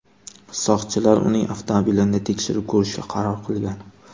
Soqchilar uning avtomobilini tekshirib ko‘rishga qaror qilgan.